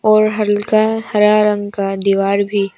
और हल्का का हरा रंग का दीवार भी--